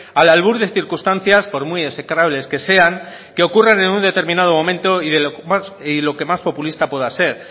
al albur de circunstancias por muy execrables que sean que ocurren en un determinado momento y lo que más populista pueda ser